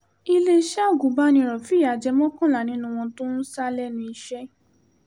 iléeṣẹ́ agùnbánirò fìyà jẹ mọ́kànlá nínú wọn tó ń sá lẹ́nu iṣẹ́